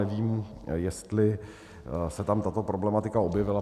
Nevím, jestli se tam tato problematika objevila.